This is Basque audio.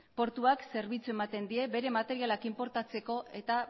portuak zerbitzua ematen die bere materialak inportatzeko eta